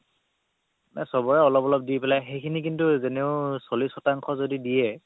চবৰে অলপ অলপ দি পেলাই সেইখিনি কিন্তু যেনেও চল্লিশ শতাংশ যদি দিয়ে